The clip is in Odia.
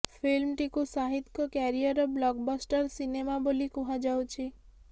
ଫିଲ୍ମଟିକୁ ଶାହିଦ୍ଙ୍କ କ୍ୟାରିୟର୍ ବ୍ଲକ୍ ବ୍ଲଷ୍ଟର ସିନେମା ବୋଲି କୁହାଯାଉଛି